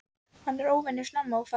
Hann er óvenju snemma á ferð.